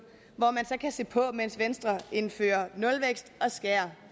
hvor man så kan se på mens venstre indfører nulvækst og skærer